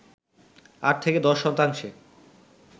৮-১০ শতাংশে